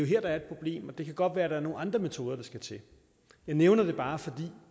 her der er et problem og det kan godt være at det er nogle andre metoder der skal til jeg nævner det bare fordi